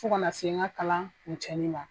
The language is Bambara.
Fo ka na se n ka kalan kuncɛli ma.